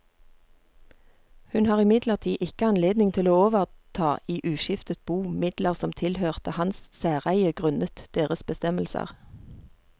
Hun har imidlertid ikke anledning til å overta i uskiftet bo midler som tilhørte hans særeie grunnet deres bestemmelser.